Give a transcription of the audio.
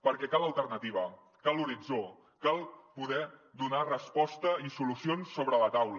perquè cal alternativa cal horitzó cal poder donar resposta i solucions sobre la taula